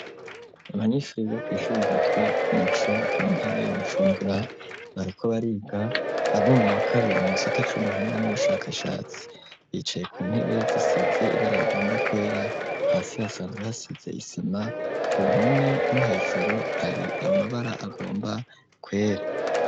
Abanyeshure biga kw'ishure ryitwa k'umuco mu ntara ya Bujumbura bariko bariga abo muwa kabiri mu gisata c'ubuhinga n'ubushakashatsi bicaye ku ntebe zisize ibara rigomba kwera hasi hasanzwe hasize isima ku mpome no hejuru hari amabara agomba kwera.